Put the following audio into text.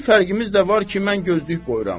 Bir fərqimiz də var ki, mən gözlük qoyuram.